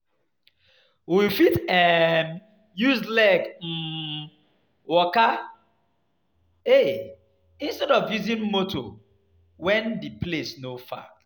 We fit um use leg um waka instead of using motor especially when di place no far